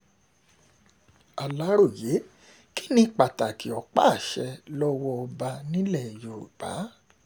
aláròye kí ni pàtàkì ọ̀pá-àṣẹ lọ́wọ́ ọba nílẹ̀ yorùbá